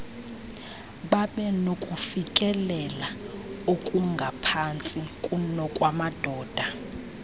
babenokufikelela okungaphantsi kunokwamadoda